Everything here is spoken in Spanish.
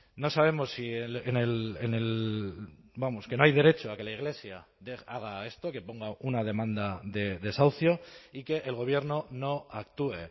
no sabemos si en el vamos que no hay derecho a que la iglesia haga esto que ponga una demanda de desahucio y que el gobierno no actúe